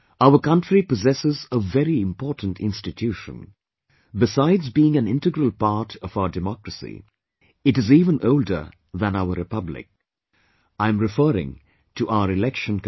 Our Country possesses a very important institution; besides being an integral part of our democracy, it is even older than our Republic I am referring to our Election Commission